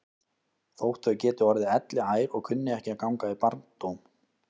Þótt þau geti orðið elliær og kunni ekki að ganga í barndóm.